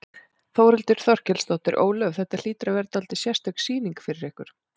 Þórhildur Þorkelsdóttir: Ólöf, þetta hlýtur að vera dálítið sérstök sýning fyrir ykkur?